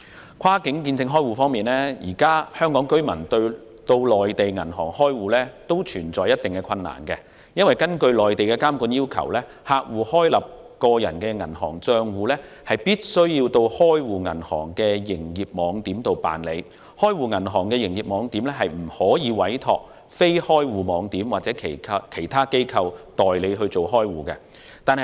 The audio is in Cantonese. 在跨境見證開戶方面，香港居民現時到內地銀行開戶面對一定困難，因為根據內地監管要求，客戶開立個人銀行帳戶必須到開戶銀行的營業網點辦理手續，開戶銀行的營業網點不得委託非開戶網點或其他機構代辦開戶手續。